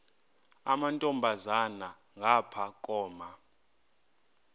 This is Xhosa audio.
amantombazana ngapha koma